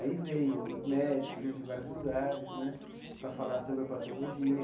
Aí veio médicos né de vários lugares né para falar sobre a patologia.